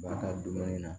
Ba ka dumuni na